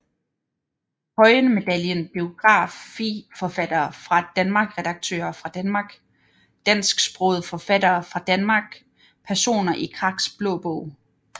Høyen Medaljen Biografiforfattere fra Danmark Redaktører fra Danmark Dansksprogede forfattere fra Danmark Personer i Kraks Blå Bog